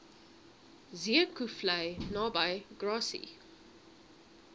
zeekoevlei naby grassy